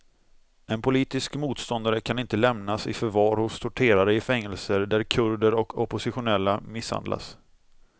En politisk motståndare kan inte lämnas i förvar hos torterare i fängelser där kurder och oppositionella misshandlas.